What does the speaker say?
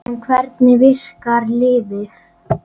En hvernig virkar lyfið?